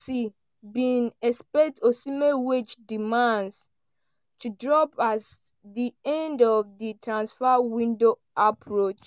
bin expect osimhen wage demands to drop as di end of di transfer window approach.